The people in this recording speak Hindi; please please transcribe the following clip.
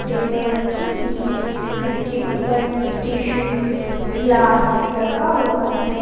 टेबल रखी हुई है जिसके ऊपर टिशु ग्लास रखा हुआ है।